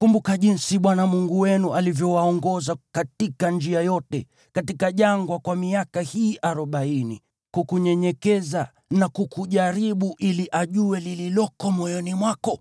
Kumbuka jinsi Bwana Mungu wenu alivyowaongoza katika njia yote katika jangwa kwa miaka hii arobaini, kukunyenyekeza na kukujaribu ili ajue lililoko moyoni mwako,